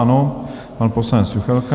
Ano, pan poslanec Juchelka.